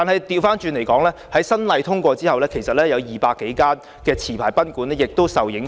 不過，在《條例草案》通過後，其實有200多間持牌賓館亦受影響。